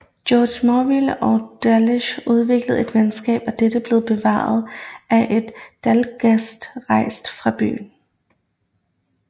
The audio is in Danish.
Georg Morville og Dalgas udviklede et venskab og dette blev bevaret efter at Dalgas rejste fra byen